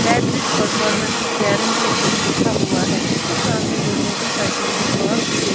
batteries performance guaranteed भी लिखा हुआ है इसके सामने दो मोटरसाइकिले भी पार्क की गई--